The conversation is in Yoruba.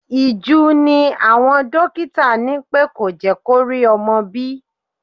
Ìju ni àwọn dókítà ní pẹ́ kò jẹ́ kó rí ọmọ bí.